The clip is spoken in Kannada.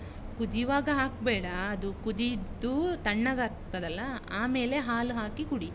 ಕುದಿಯುವಾಗ ಹಕ್ಬೇಡಾ. ಅದು ಕುದಿದು, ತಣ್ಣಗಾಗ್ತದಲ್ಲ ಆಮೇಲೆ ಹಾಲು ಹಾಕಿ ಕುಡಿ.